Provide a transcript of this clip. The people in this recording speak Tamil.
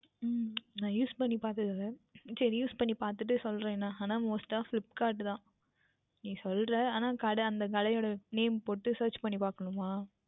உம் நான் Use பண்ணி பார்த்தது இல்லை Use பண்ணி பார்த்துவிட்டு சொல்லுகின்றேன் Most டாக Flipkart தான் நீ சொல்லுகின்ற ஆனால் கடை அந்த கடை உடைய Name போட்டு Search பண்ணி பார்க்கவேண்டுமா